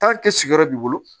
sigiyɔrɔ b'i bolo